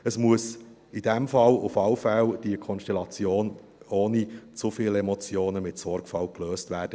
Diese Konstellation muss jedenfalls unbedingt ohne zu viele Emotionen mit Sorgfalt gelöst werden.